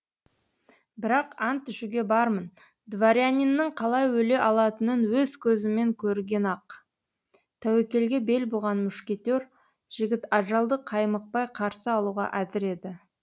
бірақ ант ішуге бармын дворяниннің қалай өле алатынын өз көзімен көрген ақ тәуекелге бел буған мушкетер жігіт ажалды қаймықпай қарсы алуға әзір еді